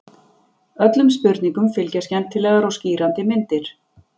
Öllum spurningum fylgja skemmtilegar og skýrandi myndir.